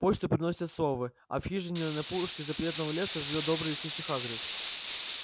почту приносят совы а в хижине на опушке запретного леса живёт добрый лесничий хагрид